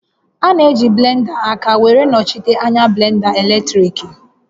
A na-eji blenda aka were nọchite anya blenda eletriki